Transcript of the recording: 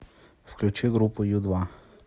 включи группу ю два